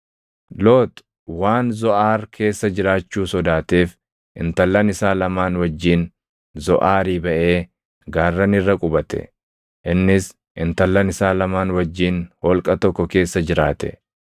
Loox waan Zoʼaar keessa jiraachuu sodaateef intallan isaa lamaan wajjin Zoʼaarii baʼee gaarran irra qubate. Innis intallan isaa lamaan wajjin holqa tokko keessa jiraate.